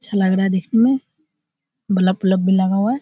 अच्छा लग रहा है देखने में बोलब औलब लगा हुआ है।